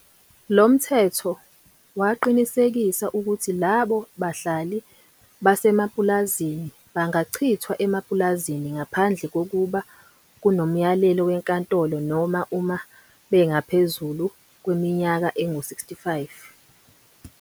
Lo mthetho, waqinisekisa ukuthi labo bahlali basemapulazini bangachithwa emapulazini ngaphandle kokuba kunomyalelo wenkantolo noma uma bengaphezu kweminyaka engu 65.